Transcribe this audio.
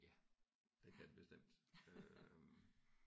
Ja det kan det bestemt øh